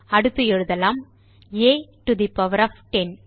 அடுத்து எழுதலாம் a to the power of 10